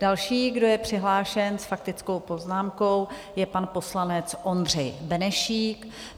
Další, kdo je přihlášen s faktickou poznámkou, je pan poslanec Ondřej Benešík.